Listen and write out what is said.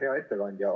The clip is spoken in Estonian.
Hea ettekandja!